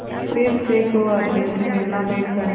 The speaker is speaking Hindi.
फिर सैकड़ों आदमियों से मिलनाभेंट करना